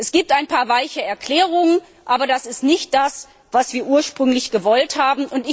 Es gibt ein paar weiche Erklärungen, aber das ist nicht das, was wir ursprünglich gewollt haben.